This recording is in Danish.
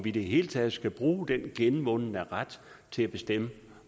i det hele taget skal bruge den genvundne ret til at bestemme